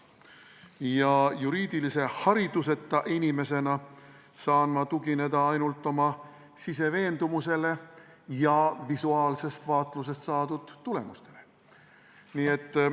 Ja juriidilise hariduseta inimesena saan ma tugineda ainult oma siseveendumusele ja visuaalsest vaatlusest saadud tulemustele.